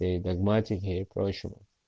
и догматики и прочего